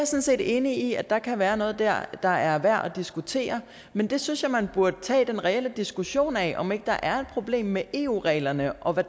set enig i at der kan være noget dér der er værd at diskutere men der synes jeg man burde tage den reelle diskussion af om ikke der er problem med eu reglerne og hvad